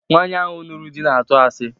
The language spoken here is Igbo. Nwaanyi ahụ nụrụ di na-atụ asi